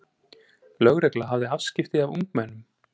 Lögregla hafði afskipti af ungmennum